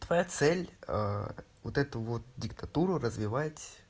твоя цель вот эту вот диктатуру развивать